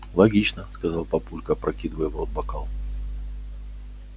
логично сказал папулька опрокидывая в рот бокал